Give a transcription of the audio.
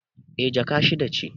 Eh, Jaka shida ce